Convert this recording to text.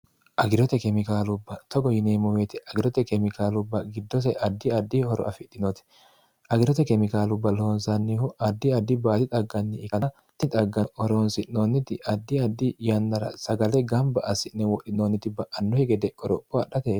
agirote kemikaalubba togo yineemmuweeti agirote kemikaalubba giddose addi addi horo afidhinoti agirote kemikaalubba loonsannihu addi addi baati xagganni ikani xagganni horoonsi'noonniti addi addi yannara sagale gamba assi'ne wodhinoonniti ba'annuhi gede qoropho adhate